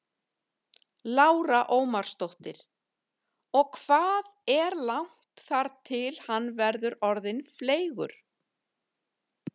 Lára Ómarsdóttir: Og hvað er langt þar til hann verður orðinn fleygur?